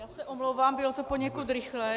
Já se omlouvám, bylo to poněkud rychlé.